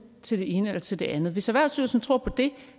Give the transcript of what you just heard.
til det ene eller til det andet hvis erhvervsstyrelsen tror på det